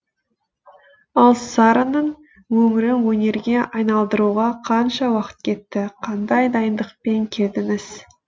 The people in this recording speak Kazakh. ал сараның өмірін өнерге айналдыруға қанша уақыт кетті қандай дайындықпен келдіңіз